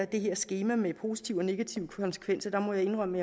det her skema med positive og negative konsekvenser må jeg indrømme